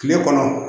Kile kɔnɔ